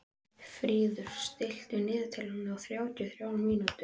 Fríður, stilltu niðurteljara á þrjátíu og þrjár mínútur.